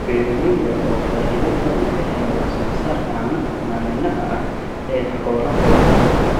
Beeralayda oo faa�iido badan ka hela wax soo saarka caanaha maalinlaha ah ee xoolahooda.